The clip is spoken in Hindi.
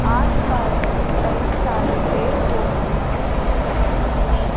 आसपास में कई सारे पेड़ पौधे भी दिख रहे हैं।